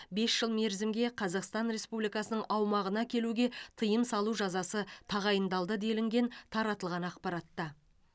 бес жыл мерзімге қазақстан республикасының аумағына келуге тыйым салу жазасы тағайындалды делінген таратылған ақпаратта